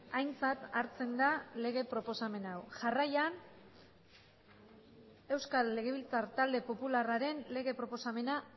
aintzat hartzen da lege proposamen hau jarraian euskal legebiltzar talde popularraren lege proposamena